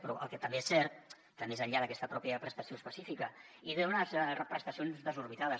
però el que també és cert que més enllà d’aquesta pròpia prestació específica i d’unes prestacions desorbitades